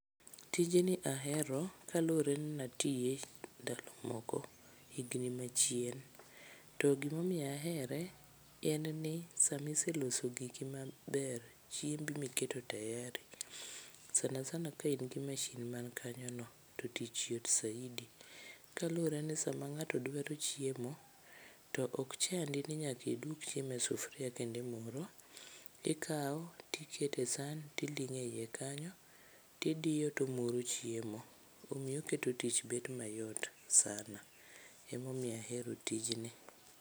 Tijni ahero kaluwre nnatiye ndalo moko higni machien to gimomiyo ahere en ni samiseloso giki maber, chiembi miketo tayari sana sana ka in gi mashin man kanyo no to tich yot saidi. Kaluwre ni sama ng'ato dwaro chiemo to ok chandi ni nyakidwok chiemo e sufuria kendo imuro, ikawo tikete san tiling'o e iye kanyo tidiyo tomuro chiemo, omiyo oketo tich bedo mayot sana emomiyo ahero tijni.